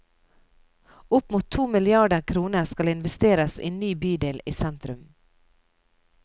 Opp mot to milliarder kroner skal investeres i ny bydel i sentrum.